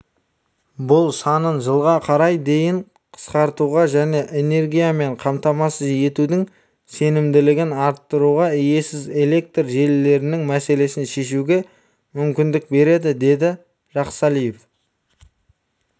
бұл санын жылға қарай дейін қысқартуға және энергиямен қамтамасыз етудің сенімділігін арттыруға иесіз электр желілерінің мәселесін шешуге мүмкіндік береді деді жақсалиев